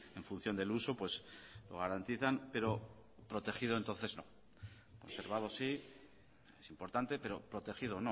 en función del uso garantizan pero protegido entonces no conservado sí es importante pero protegido